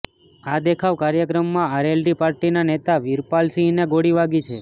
આ દેખાવ કાર્યક્રમમાં આરએલડી પાર્ટીના નેતા વીરપાલ સિંહને ગોળી વાગી છે